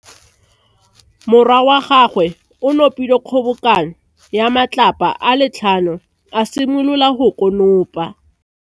Morwa wa gagwe o nopile kgobokanô ya matlapa a le tlhano, a simolola go konopa.